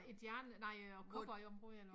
Et jern nej øh cowboy område eller hva